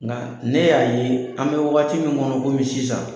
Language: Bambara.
Nka ne y'a ye an bɛ wagati min kɔnɔ komin sisan